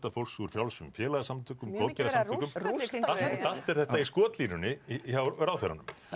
fólks úr frjálsum félagasamtökum allt er þetta í skotlínunni hjá ráðherranum